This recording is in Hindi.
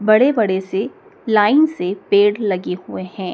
बड़े बड़े से लाइन से पेड़ लगे हुए हैं।